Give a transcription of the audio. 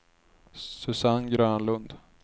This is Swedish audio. Susanne Grönlund